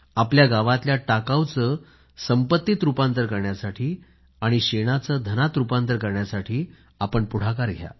आपल्या गावातल्या टाकाऊ चे संपत्तीत रुपांतर करण्यासाठी आणि शेणाचे धनात रुपांतर करण्यासाठी पुढाकार घ्या